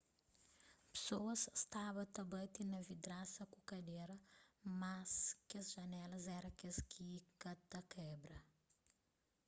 pesoas staba ta bati na vidrasa ku kadera mas kes janelas éra kes kika ta kebra